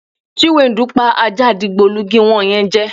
Chiwendu pa ajá digbolugi wo̩n ye̩n je̩.